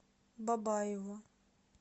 бабаево